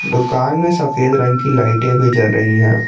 दुकान में सफेद रंग की लाइट भी जल रही रही है।